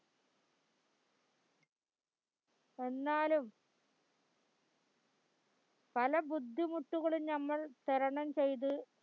എന്നാലും പല ബുദ്ധിമുട്ടുകളും നമ്മൾ തരണംചയ്ത്